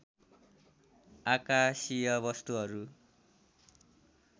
आकाशीय वस्तुहरू